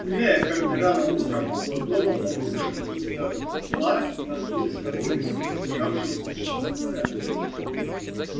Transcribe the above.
гуляя как то рано утром около дома он вышел из за утла и наткнулся на курицу убежавшую с птичьего двора